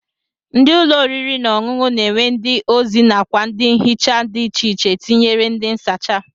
Ndị ụlọ oriri na ọṅụṅụ na-enwe ndị ozi nakwa ndị nhicha dị icheiche tinyere ndị nsacha